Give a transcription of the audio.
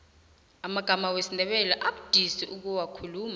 amagama wesindebele abudisi ukuwakhuluma